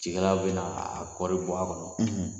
Cikɛlaw bɛna a kɔɔri bɔ a kɔnɔ,